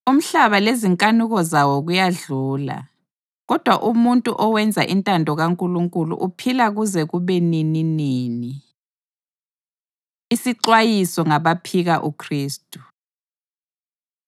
Umhlaba lezinkanuko zawo kuyadlula, kodwa umuntu owenza intando kaNkulunkulu uphila kuze kube nininini. Isixwayiso Ngabaphika UKhristu